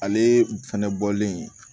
Ale fɛnɛ bɔlen